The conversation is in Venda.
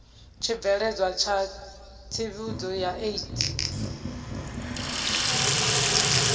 tshibveledzwa tsha tsivhudzo ya aids